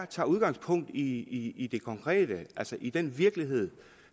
tager udgangspunkt i i det konkrete altså i den virkelighed